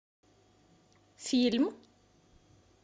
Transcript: фильм